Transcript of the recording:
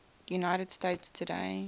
united states today